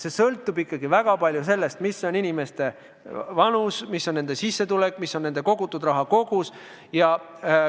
Kõik sõltub ikkagi väga palju inimeste vanusest, nende sissetulekust, nende kogutud raha kogusest.